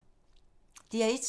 DR1